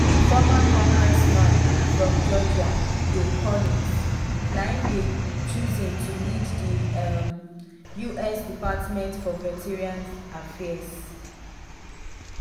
former congressman from georgia doug collins na im dey chosen to lead di um us department for veterans affairs.